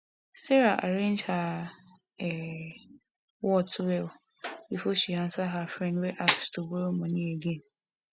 sarah arrange her um words well before she answer her friend wey ask to borrow money again